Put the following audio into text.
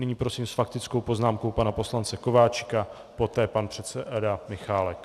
Nyní prosím s faktickou poznámkou pana poslance Kováčika, poté pan předseda Michálek.